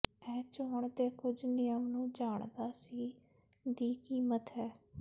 ਇਹ ਚੋਣ ਦੇ ਕੁਝ ਨਿਯਮ ਨੂੰ ਜਾਣਦਾ ਸੀ ਦੀ ਕੀਮਤ ਹੈ